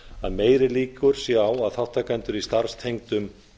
að meiri líkur séu á að þátttaka í starfstengdum